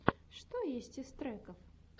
что есть из треков